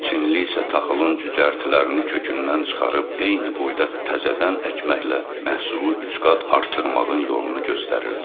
Çinli isə taxılın cücərtilərini kökündən çıxarıb eyni boyda təzədən əkməklə məhsulu üç qat artırmağın yolunu göstərirdi.